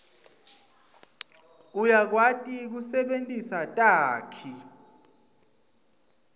uyakwati kusebentisa takhi